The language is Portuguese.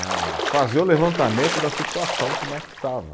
a fazer o levantamento da situação como é que estava.